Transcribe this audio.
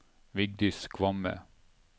Vigdis Kvamme